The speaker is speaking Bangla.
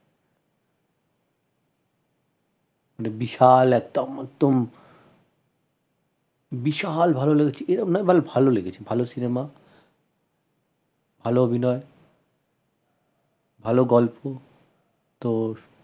মানে বিশাল একটা বিশাল ভাল লেগেছে এরম না মানে ভাল লেগেছে ভাল cinema ভাল অভিনয় ভাল গল্প তো